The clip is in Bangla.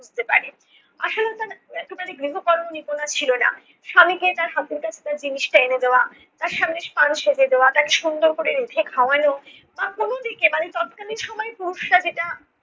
পারে। আশালতার একেবারে গৃহকর্ম নিপুণা ছিল না। স্বামীকে তার হাতের কাছে জিনিসটা এনে দেওয়া তার সামনে পান সেজে দেওয়া, তাকে সুন্দর করে রেঁধে খাওয়ানো বা কোনো দিকে মানে তৎকালীন সময়ে পুরুষরা যেটা